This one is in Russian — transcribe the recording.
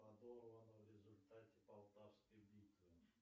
подорвана в результате полтавской битвы